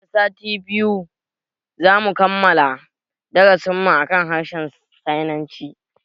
Nan da sati biyu zamu kammala darasin mu akan harshen sinanci